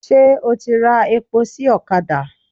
Ṣé o ti ra epo sí ọ̀kadà?